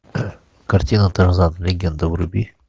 картина тарзан легенда вруби